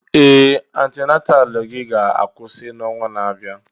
Ee! Antenataalụ gị ga-akwụsị n'ọnwa na-abịa.